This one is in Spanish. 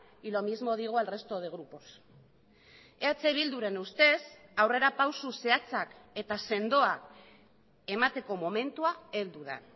y lo mismo digo al resto de grupos eh bilduren ustez aurrerapauso zehatzak eta sendoak emateko momentua heldu da